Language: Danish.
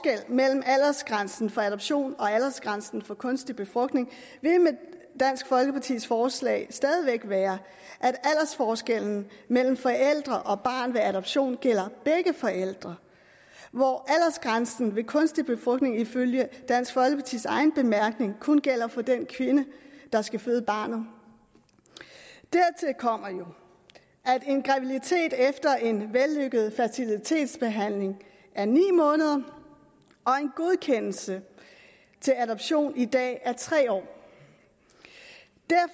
mellem aldersgrænsen for adoption og aldersgrænsen for kunstig befrugtning vil med dansk folkepartis forslag stadig væk være at aldersforskellen mellem forældre og barn ved adoption gælder begge forældre hvor aldersgrænsen ved kunstig befrugtning ifølge dansk folkepartis egen bemærkning kun gælder for den kvinde der skal føde barnet dertil kommer jo at en graviditet efter en vellykket fertilitetsbehandling varer ni måneder og at en godkendelse til adoption i dag er tre år